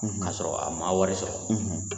K'a sɔrɔ a ma wari sɔrɔ,